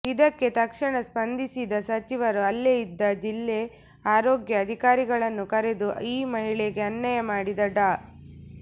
ಇದಕ್ಕೆ ತಕ್ಷಣ ಸ್ಪಂದಿಸಿದ ಸಚಿವರು ಅಲ್ಲೆ ಇದ್ದ ಜಿಲ್ಲೆ ಆರೋಗ್ಯ ಅಧಿಕಾರಿಗಳನ್ನು ಕರೆದು ಈ ಮಹಿಳೆಗೆ ಅನ್ಯಾಯ ಮಾಡಿದ ಡಾ